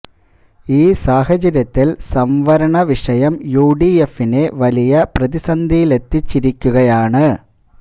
ഈ സാഹചര്യത്തില് സംവരണ വിഷയം യു ഡി എഫിനെ വലിയ പ്രതിസന്ധിയിലെത്തിച്ചിരിക്കുകയാണ്